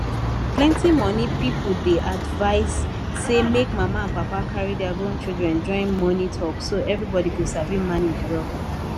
plenty money people dey advise say make mama and papa carry their grown children join money talk so everybody go sabi manage well